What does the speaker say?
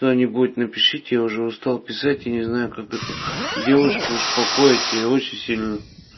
кто-нибудь напишете я уже устал писать я не знаю как эту девушку успокоить я очень сильно